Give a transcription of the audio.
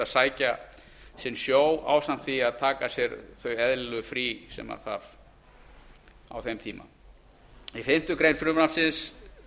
sækja sinn sjó ásamt því að taka sér þau eðlilegu frí sem þarf á þeim tíma í fimmtu grein frumvarpsins